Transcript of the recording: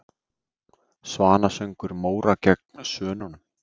Svanasöngur Móra gegn Svönunum?